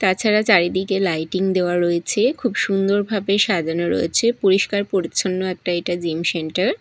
তাছাড়া চারিদিকে লাইটিং দেওয়া রয়েছে খুব সুন্দরভাবে সাজানো রয়েছে পরিষ্কার পরিচ্ছন্ন একটা এইটা জিম সেন্টার ।